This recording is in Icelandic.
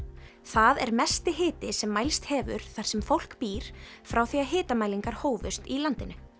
það er mesti hiti sem mælst hefur þar sem fólk býr frá því að hitamælingar hófust í landinu